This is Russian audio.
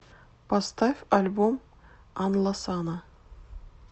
поставь альбом анласана